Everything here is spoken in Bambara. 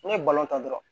N'i ye ta dɔrɔn